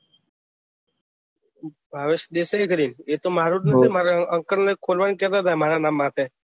ભાવેશ દેસાઈ કરીને એ તો મારું જ નામ મારા અંકલ ને ખોલવાની કેહતા હતા મારા નામ માટે